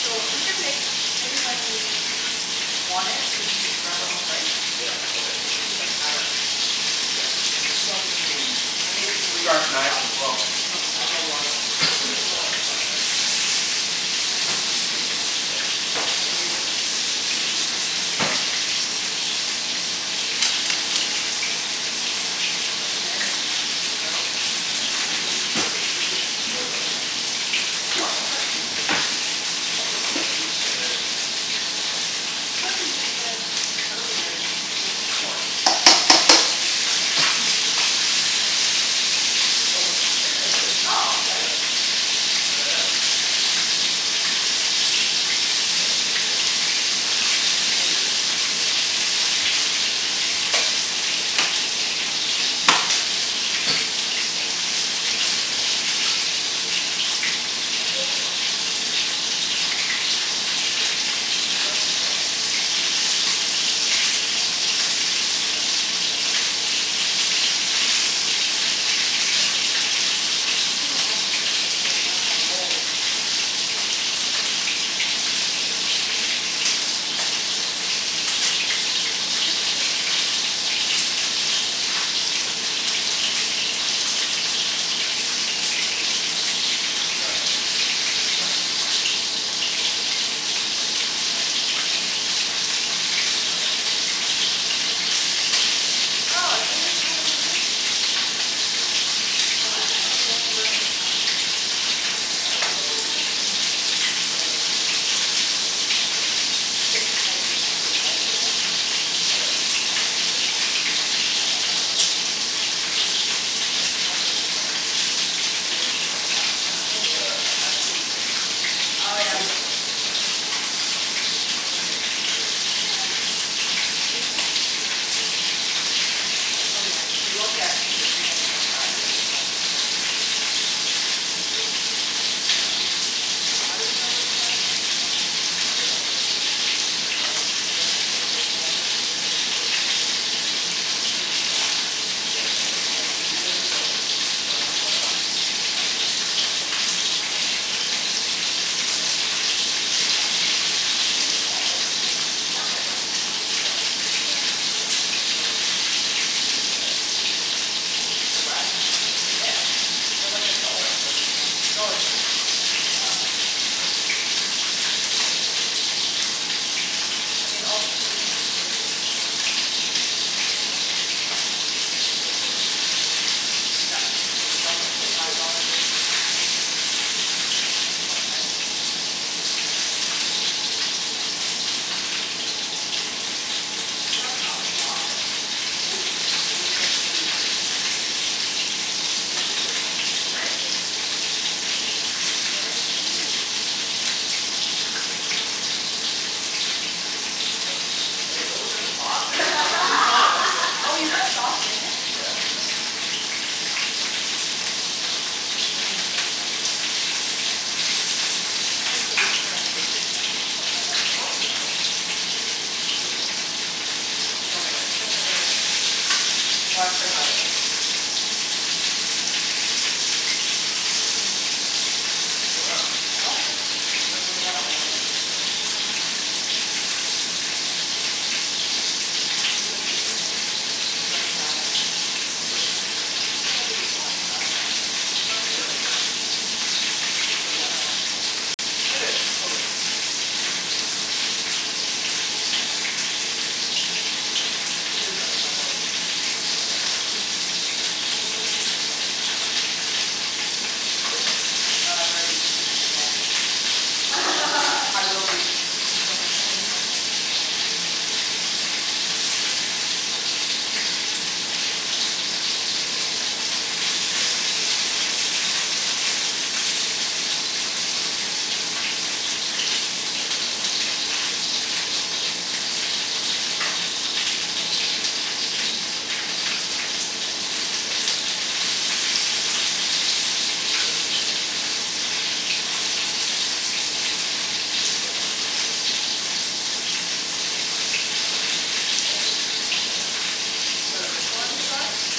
So we can make maybe when we want it we can just grab our own rice. Yeah, okay. We just made the paddle, Kenny. Yeah. And there's some I made three sharp knives cups as well so there's a lot of rice. You can Oh make wow. uh, fried rice tomorrow. Yeah, we can make it. I just figured you can always use rice so, why not make more in case. I'm gonna try the pork now. How'd you marinate this one? Just garlic and salt n pepper? Oh same thing, the lemongrass marinade. The pork? I thought you didn't do it. I did, I used the same marinade. I swear you just said earlier, this pork you didn't want to use the marinade because we didn't have enough time. Oh no, I I did it. Oh okay. Yeah, try it out. I will. I think want another rice roll Yeah, you do. It's delicious. Yeah, it is. Good job guys. Good job, team. Mhm. Team rice roll. Good job on the sauce, Oh Wenny. Thank you. it's stuck, no! Yeah, we're gonna need that recipe, too. The thing with having the sauce on the plate, now my roll ugh, it won't fit! Now it's all crinkled. Do you want another plate? No, it's a waste. We could just dip actually cuz it's just the two of us eating this thing. Yeah. Okay. What kind of lettuce is this? Just romaine, or green leaf. And then this is chives? Chives, yeah. Chives with mint. Mint? Isn't Oh, I this mint? totally forgot about the mint, okay. Why is it Home, that I don't really taste home-grown the mint. chives? Yeah, I have a It doesn't basil really have a strong taste, does it? Mhm. I got a basil plant at home, like it's Really? amazing yeah. Just, like, Did you get it from Trader Joes? Italian basil? Pardon? Italian basil? Uh, sweet basil. Mm. I want Thai basil. I don't know where you get that. Ask, ask those uh, ask those uh, Vietnamese Oh restaurants. They yeah. always have like so much, right. They probably get wholesale. Um, I usually put green onion in mine. Oh yeah, we looked at either green onion or chives and we thought chives would be easier to stuff, I dunno. Mhm. Why did we go with chives, Kenny? I dunno, I think chives, I like the flavor of chives it, but it's not as quite as overpowering as green Mhm, onions. yeah. Cuz the green And green onion's onion I like em in, if I use that I'll usually chop it really fine, Oh so yeah? you don't get destroyed by it. I just put like one straw Is this in. even hot wat- does it even need to be No, hot it doesn't water? have to be hot. Just water right? Yeah, we prefer warm. Did you get this at Eighty eight as well? The wraps? Yeah. Yeah. They're like a dollar for this pack, dollar sixty eight. Wow. You can feed an army. Mhm. Well you have to make all this other stuff. I mean, all the ingredients today we spent twenty six dollars. The mai- most of it was probably the meat, right? Exactly. So the deli That's meat was so five cheap. dollars, the chickens, what, ten? I can't remember now, for like a pack of ten? That's a lot of I think food. Asian food in general is always cheaper, isn't Oh, look at this it. one, this looks pretty Nice! good. Mm. Very pretty. Thank you thank you. Oh, you forgot your ends. No. Okay, don't look at the top Oh, you put sauce in it? Yeah. You don't have to you know. Dip it. Then it won't fall apart. Oh so we booked our anniversary dinner tomorrow for Annalena. Oh nice! So You've excited! been there? She told me about it. I've heard really good things. Well, I've heard It's on about it our list. before, too. Mm, it's really good. Oh yeah, I don't think. you guys married August fifteenth, right? Yep. Mhm. Tomorrow. There's a tasting menu for seventy five per person, I think it's a bit too much but I dunno. That's generally how much tasting Mhm. menus are. I think it's I dunno. reasonable. It is, totally. It's just cuz we're unemployed. We did seventy five dollar tasting menus in Australia, it was great. Mhm. But you're getting paid today so, you can get yourself That's good true. dinner Uh, tomorrow. I've already pre-advanced. I will be purchasing something I already have something in mind. The most expensi- the most expensive one I did was in LA. Mm. To thank my friend for, she basically let me live in her home for like, like four nights, that saved like a ton. Yeah. So Mhm. thank her I, and it was her birthday too. Mm. I took her out to this restaurant and, it was um with the wine pairing, it was three twenty five Per per person. person. Oh Wow. Yeah. shit. Was it a Michelin star? Mhm.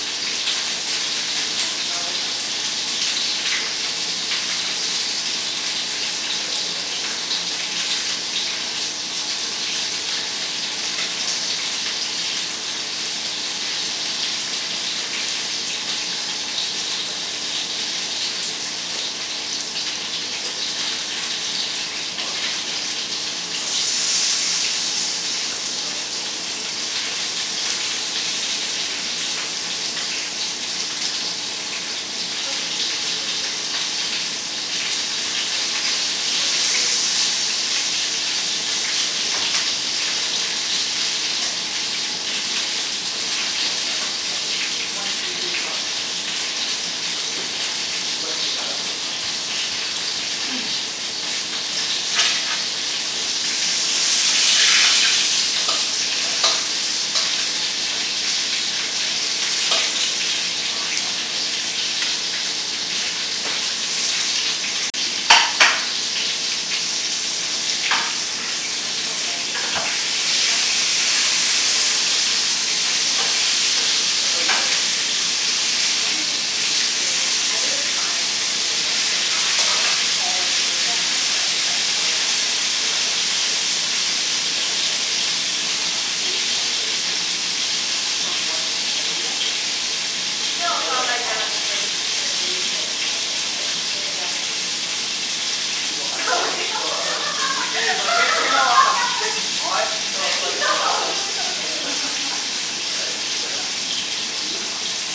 Was it Michelin star? Uh, which one? What kind of food would Actually, I dunno if it was they have? starred, I didn't check um, but Providence? Like West Coast? Hm? West Coast type of food? French. You French. think it was worth it? Honestly, yeah. Like Really? The, not just the food, but the decor, the service, like everything from like the moment you go in it's like Mm. Amazing. Service is usually really good. At those kinda restaurants. I love it when they Chicken? You want some? Coordinate, and they, dropping down the food. Mhm. Like it's just like yes, that's how it shupposed to be. One two three drop kinda thing? Yeah. So like the guy will come out, our main waiter, he'll explain what the dish is, how it's made and all that, he'll give us a quick blurb on that. Mhm. And then and he, after he says please enjoy, the other two servers just put down the food. Mm. Cool Went to a wedding at the Vancouver Club, where they pour the soup at the table all at the same time. That's how you know it's fancy. How do they do that? They just, I think it's by per table, so not all the tables get it at once but it's like we're at a long table and they stand behind you and then on cue they all pour your soup. From what, a ladle? No, No, they have from like a like the pot. like a gra- kind of gravy boat type of thing, right, they bring out from the kitchen and they pour into Usually your they'll have like a, they'll have like a I'm food confused like they bring out a lot of big pot, and No, it's like like, they'll have like, if No it's like a no seafood no soup, right, if it's like a seafood cream soup,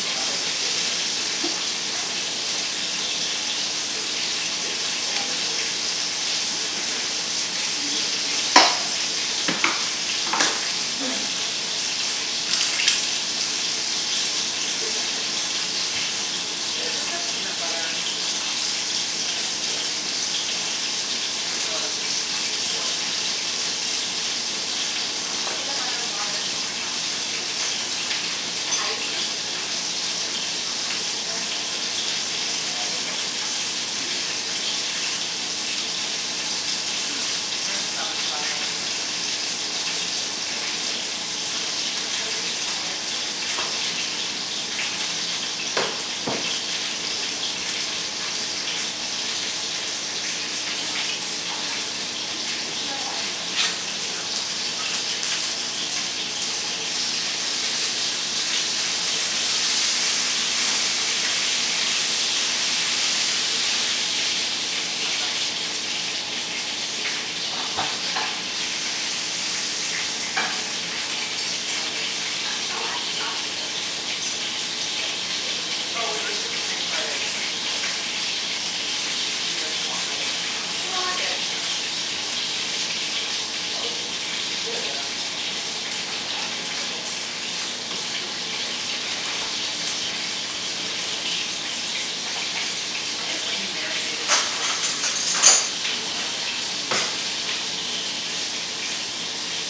they'll have like the cooked, say like, the shrimps, scallops or whatever in the bowl, so you just see it and then they pour the cream soup like around Mhm. it. Mmm! So you get to see what's inside. Cool. I guess Is it- that can be confusing. Mhm. Yeah. Is it the peanut butter that makes it so creamy? The sauce. Mhm. There's no other cream? Nope. Here. Just Thank you. peanut butter. Peanut butter, water, fish sauce, some hoisin sauce. I usually put some fresh chilies and lime juice in there but Are are the because rest ready? of my Uh, stomach they I might be ready. Maybe didn't. Mhm. go Make it take a as look. flavorful. I'll ch- I'll just check it out. Mm. Next time we can buy jalapeños. Jalapeños? From outside. I used Thai red chilies Mm. in the sauce. Mm. Do they usually use jalapeños at, at restaurants? I guess so. You don't have to. Yeah, this is DIY, you know? Make it your own. Mhm. It's not dry, is it? I'm always afraid of chicken being dry. How is it? Oh, add the sauce in them. Yeah, it's a little Oh, we were supposed to make fried eggs but oh well. Yeah, it's okay. Do you guys still want fried eggs? No, not at all, we're good. Well, how is it? It's good um, I think it could use a bit more salt. Should we bring the salt shaker out? I guess when you marinate it's supposed to be put in the fridge overnight ideally, right? Yeah. It's okay, I think.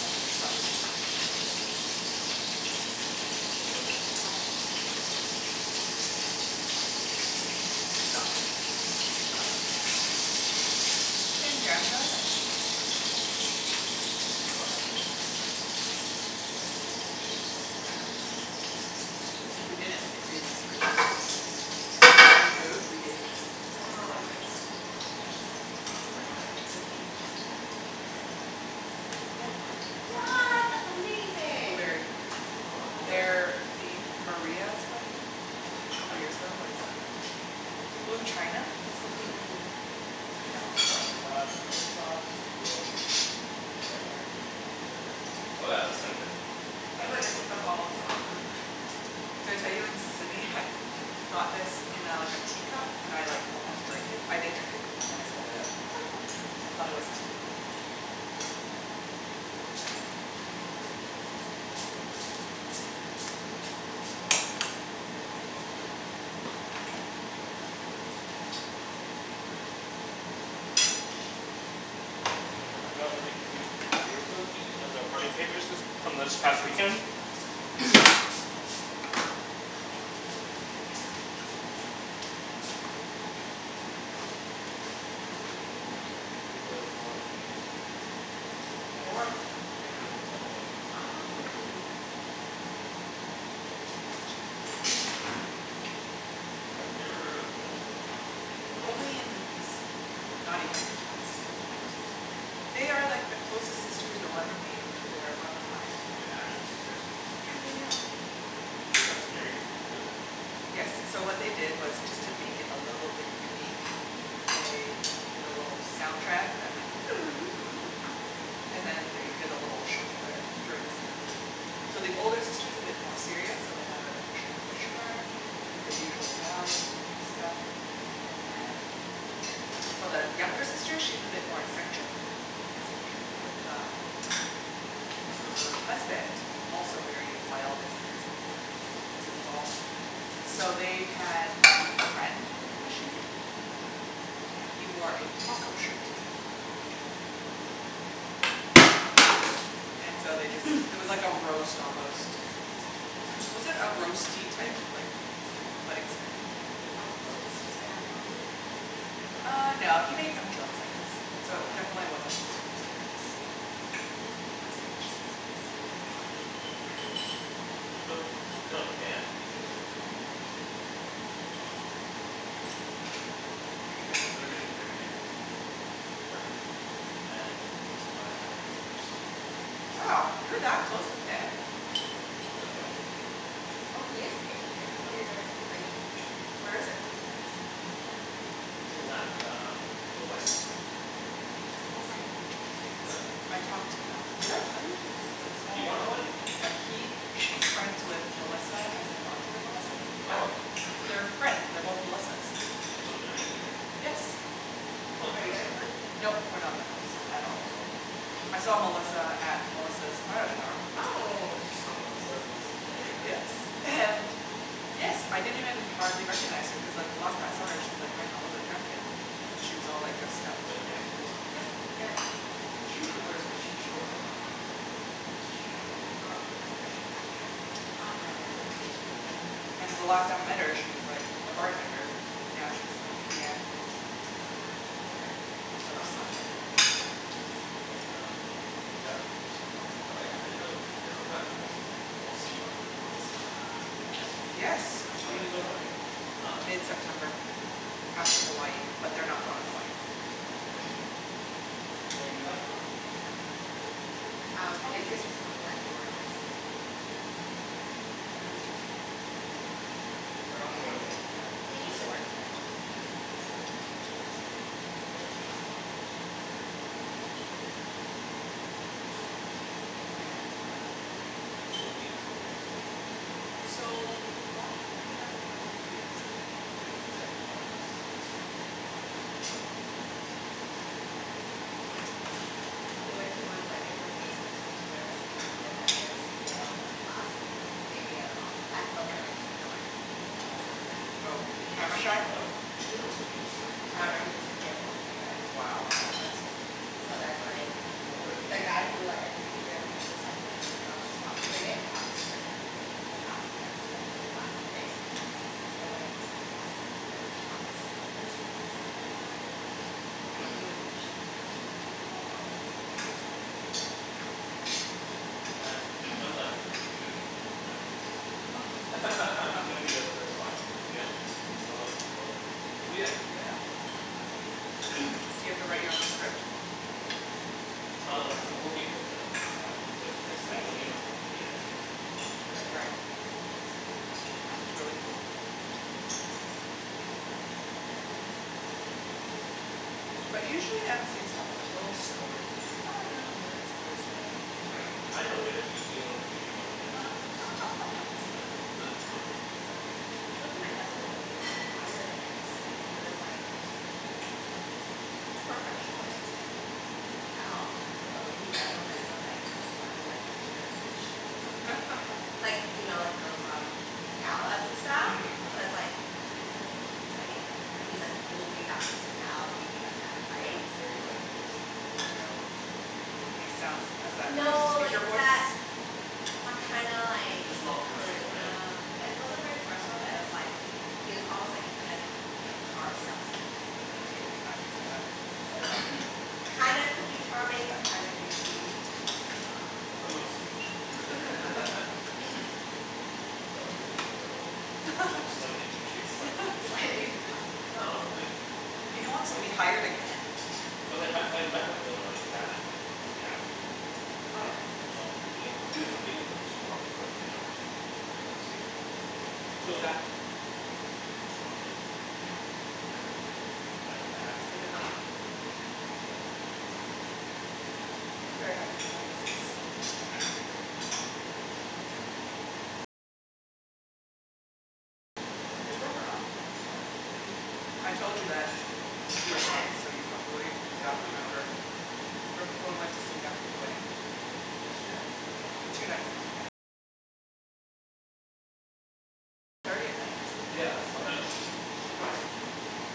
Oh, fish sauce will help. Mm. This is like the sauce you put on top of the rice and noodles. Nice. Thank you. It's not just fish sauce it's got other things, too. That's the same jam jar that Maria had for their wedding. Do we still have that jam? Or did we finish I it. think I finished it. If we didn't, it'd be in this fridge. So when we moved, we gave all the condiments to his family. Someone had like homemade jam as a Yeah. Party favor, yeah. Party favor. What! That's amazing! Blueberry. What, what Aw. is? Their theme, Maria's wedding, couple years ago was Yep. Blue china, This was the sauce? theme What Yeah. sauce is that? Uh, it's like fish sauce with. Wenny? Sugar Sugar Oh yeah, that's like that the It's really the what what they typical usually have, sauce, mhm. right? Did I tell you in Sydney I had got this in a like a teacup, and I like almost drank it, I did drink it and then I spat it out. I thought it was tea. We got really cute beer cozies as a party favors this, from this past weekend Nice That's cute. So these are four of their names. Four of their names? Yeah, cuz it was a double wedding. Oh. Mm, it's really Can cute. you pass the chicken, Phil, please? I've never heard of a double wedding. Only in Mhm. movies. Not even, still never seen. They are like the closest sisters you'll ever meet. They're one of a kind. Oh they're actually sisters? Yeah yeah yeah. They got married together? Yes, so what they did was just to make it a little bit unique, they did a little soundtrack that went and then they did a little shuffle there during the ceremony. So the older sister is a bit more serious so they had an official commissioner, did the usual bows and stuff, and then for the younger sister she's a bit more eccentric, eccentric, with um, her husband, also very wild and crazy A goofball. So they had a friend do the commissioning, and he wore a taco shirt. Hmm. That Um is interesting. and so they just, it was like a roast almost. Was it a roasty type, like, wedding ceremony? A roast ceremony? Uh no, he made some jokes I guess, so definitely wasn't super serious. Can you pass the fish sauce please? I'll put it in So, the you middle. know Dan, BK's friend? Mhm. Um Are you invited? They're getting married in September, and I I am MCing their wedding. Wow, you're that close with Dan? No, that's why he's paying me to do it. Oh he is paying you, I thought you're doing it for free. Where is Nope. it? It is at um, the Westin in Richmond. Oh right, Richmond, Yeah yes. I so. talked to Mel, did I tell you? That it's like Are small you going to the world. wedding? Yeah he, she's friends with Melissa as in Arthur and Melissa. Oh! Oh! They're friends, they're both Melissas. So they're gonna be there? Yes. Are you That's guys going? crazy. Nope, we're not that close, No, we're at not all. close at all. I saw Melissa at Melissa's bridal shower. Oh! You saw Melissa at Melissa's bridal shower? Yes, and yes I didn't even hardly recognize her cuz like the last time I saw her she's like wearing a leather jacket. And she was Mhm. all like dressed up. Like Dan's Melissa? Yeah. Yeah. She usually wears, cuz she she works at like a game company, so she's usually in like, like Pretty jeans, t-shirt casual? kinda thing, yeah. Oh yeah yeah yeah, Yeah, she's pretty super casual. casual. And the last time I met her she was like a bartender, now she's like PM. Yeah. PM? Of Oh Project project something. manager, manager. yeah. Um yeah, so I'm MCing at their wedding so yeah, I didn't know they were friends, that's cool. So I'll see Arthur Melissa at Yes! Dan's When You is their will. wedding wedding? Huh? Whe- mid-september. After Hawaii, but they're not going to Hawaii. Right Are you guys close? Nope. Hm. Um, Jason just told me that you are MCing. Mhm. How did Jason know, talked to BK? We were From talking about Dan, it at the they used to work together briefly, Oh yeah. so Oh yeah, that's true. I guess Jason would be closer to him. The wedding is huge. Oh yeah? Really? Mainly because of Dan's family. So, why don't they have a friend who can be MC? They they have one that's that's MCing, but they wanted another one. And I guess no one They else could couldn't find another one? That's surprising. I went to one wedding where there's supposed to be two MCs, and then that MC bailed like last minute like day of, at the wedding was like, no I can't do this, and so it was like Oh, Did he camera just shy? freak out? Hm? Did he just kind of freak I out? dunno he just like didn't want to do it. Wow. Wow. That's a dick move. So then like. What a The guy who like agreed to do it he was just like kind of put on the spot, cuz they didn't have a script or anything. He was asked to MC like really last minute, cuz he was like a s- like on the second list for guest invites already. So he wasn't even initially invited to the wedding. What? Wow. That's weird. Man, sounds like they could use a professional. He's gonna be you first client? Yeah. You're gonna build up on your portfolio? Yeah. Yeah. Do you have to write your own script? Um, Probably. I'm working with them. Like on, cuz it's Makes mainly you know, sense. in the end it's what they want Yeah. right? Right. That's really cool. Yeah. That you're doing that. But usually MC's have like a little story like I know this person from I know Dan because he wanted to give me money and I said yes. Exactly. I went to my cousin's wedding and they hired a MC and he was like, professional MC like he, you can tell, but the way he ran the wedding was like he was running like a charity show or something Like, you know like those um, galas and stuff Mhm So it's Yeah. like, dude, this is like a wedding like, but he's like totally that personality, Yeah. like that type. Very like logistical Just Yeah. like this is what we are gonna do And he sounds, now has that No, like speaker voice? that, that kinda like Just not personal right? Charisma. It wasn't very personal but it was like, he was almost like a kind of, type, like car salesman type of Hm, Mhm. dude. I can see okay that. So it's like, kinda could be charming but kinda douchey. But mostly douchey. Is that what you're gonna go for, Phil? Just slightly douchey. Slightly douchey. Slightly douchey Just a little, no like He don't wants to be hired again. Cuz I met, I met with them and like chatted for like three hours with them, and Oh then Wow yeah? so I'll be meeting with them aga- I'm meeting with them tomorrow for dinner to meet the co-mc. Mm. Who's So that? A girl named Nat- Natalie? Mm. I don't, I haven't met And her they're not paying for the No. I'm very happy with our MC's. They are great. Yeah. What? They broke up? I think wait, did I you tell told me you that? that You told me that. You were drunk, When? so you probably only When half did you tell me remember that? Right before we went to sleep after the wedding. Yesterday? Or the day Two before? nights ago, yep. Yeah, and Why then did she, she message you?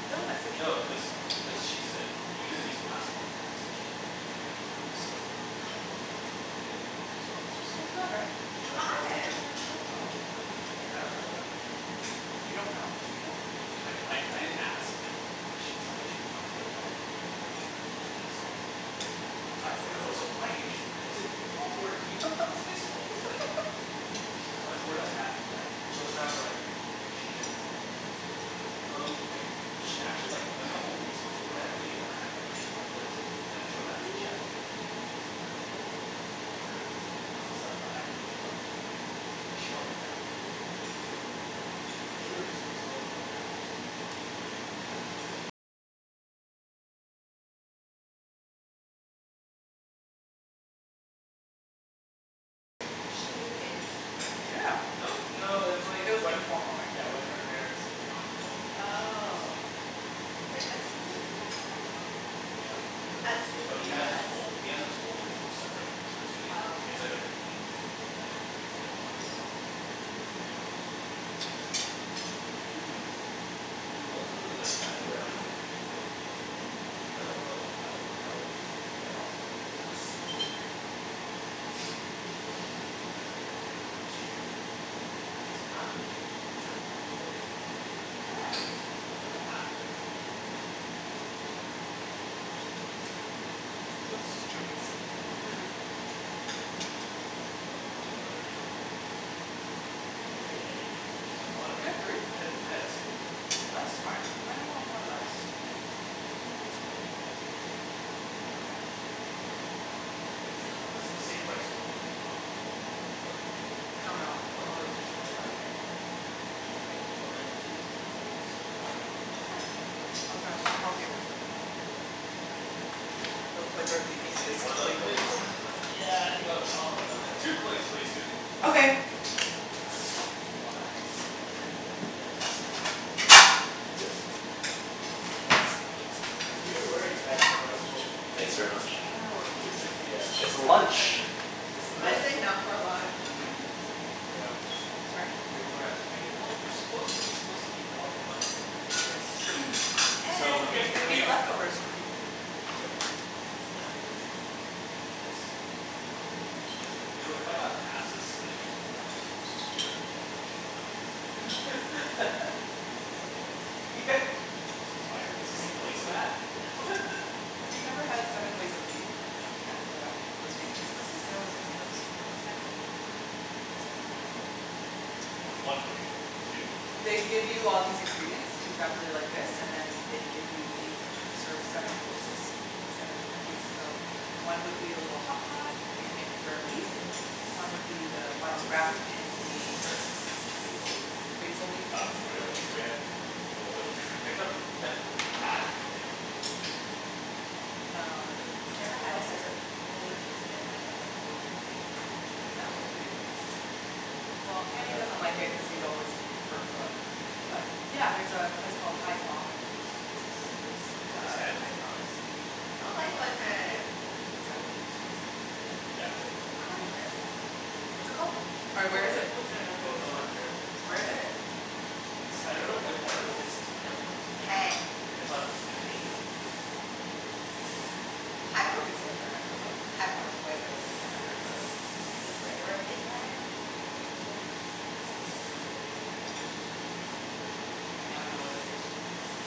Phil messaged No, me. cuz cuz she said, "Can you please pass along the message to like the friend groups so I won't have to repeat it?" So I was just So like sad right? They What looked like such a happened? good couple! I I Yeah, Yeah. dunno. what happened? You don't know, Phil? I I d- I didn't ask like, I mean she was like she I was like, "how are you doing", she's like, "I'm a complete mess" so I wasn't gonna go into it like. Oh I see I Oh so see. why did you break, was it your fault or do you think it was his fault? Like, c'mon, I have more tact than So it that. sounds like she didn't want to break up. Um, I she actually like a couple weeks beforehand we uh had brunch at my place, and then she was actually chatting with me and she was saying how they were having some fights and stuff but I didn't, I thought it was, like she probably downplayed it. Mm. But. Cuz we were just supposed to go over to her house and cook dumplings Yeah. No? No, it's like It was when informal right? Yeah when her parents were not home then she would just Oh. stay with him, basically. Cuz like, does he live in his family Yeah, home? he does. I assume But he he has his does. whole, he has his whole separate basement suite. Oh It's like a okay. complete unit that they could rent out if they wanted to. Mm. But yeah. That's too bad. Yeah, he Mhm. seemed like a nice guy. He was a really nice guy and then like a for uh like uh I met him quite a long time ago. I hung out with him lots of times. He looks so familiar to me I don't know where I him from. He lives in Kerrisdale. That's true. He's half, he's like quarter Filipino, quarter Thai, and like half like Cantonese or something like that? Mm. He He Yeah. looks looks pretty Chinese Chinese, yeah. Mhm. He looks Chinese. Mhm Do I want another roll? I had three. Yeah, you do. I want You another had three? one. I had, I had two. I had two, yeah. Oh that's smart. Does anyone want more lettuce? I think I do. No, I think I just want the meat. Okay. The meat and the, I guess this this is the same rice noodle they use in ramen, like in the pho, right? No. No. This is No? Pho is different. vermicelli, Pho is different. yeah. It's Okay, different. but my plate is dirty now so. Grab another one. Yeah. I'll We grab, Yeah. just I'll stick, help you. stick stuff in the dishwasher anyways. Yeah, Yeah, okay. those plates are the Do you easiest to want another clean. plate as well? yeah I think I'll, I'll have another roll. Two plates please, Susie. Okay. Oh lemme grab my, water. So much food. Yeah. That's a lot of food. Cuz we were worried that the rice rolls wouldn't be Thanks very enough. I much. was like ah You I are think welcome. it'd just be a It's lunch! appetizer. It's the most That's enough for lunch. Mhm. Yeah. Sorry? We over estimated. Well, you're supposedly suppose to eat more for lunch than you are for Yes it's dinner. true. So And I mean there's going here to we be are leftovers for people True. Yeah. Thanks. You know if I got passed this like it, I was told this was food I'd be like, what's wrong with you. Is this the plate? Yeah. Is this the Biodegradable plate? placemat? Have you never had seven ways of beef at uh, those Vietnamese places? They No. always give you those. What's seven ways of beef? It's like um Well there's one way and then two and then They give you all these ingredients exactly like this and then they give you beef, serve seven courses in seven different ways so one would be a little hotpot and you make rare beef. Mm. One would be the ones Barbequed? wrapped in the Basil leaf? Basil leaf Got thing grilled shrimp, broiled shrimp fried shrimp I dunno, Um. what meat I've do I never want What had it else cuz is there. it's only Jason and I who ever go to, for Vietnamese together. I don't really the, like the seven ways of beef either, Well, I'd Kenny rather doesn't have a like it bowl cuz of he's always prefer Pho. Pho. But Mm. yeah, there's a place called Hai Phong on Kingsway So Pho fun, Tan is Hai really Phong good, is have you been? I don't like It's on Pho Tan! thirtieth Where's and? that? Pho Tan? Pho- yeah, it's like this They have one in Kerrisdale. What's it called? Or where Oh is yeah it? Pho Tan I've been to the one in It's Kerrisdale. Where not is it? good. It's, I I had Pho dunno there if, I once. dunno if it's Tam or Tan. Tan. It's on Main and Thirtieth. Oh Hai Phong is thirtieth. way better. Yeah, Hai Ph- Hai Hai Phong Phong is way is good way way better. Where is that? Kingsway. Kingsway. Where Midland Liquidators is. Kingsway and close to King Ed I dunno what it's King close Ed? to. Yeah. Oh.